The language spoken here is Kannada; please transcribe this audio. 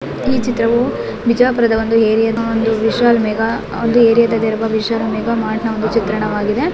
ಈ ಚಿತ್ರವೂ ಬಿಜಾಪುರದ ಒಂದು ಏರಿಯಾದ ಒಂದು ನಿಶಾ ವಿಶಾಲ್ ಮೇಘ ಒಂದು ಏರಿಯಾ ದಲ್ಲಿರುವ ವಿಶಾಲ್ ಮಾರ್ಟ್ನ ಮೇಘ ಚಿತ್ರಣವಾಗಿದೆ.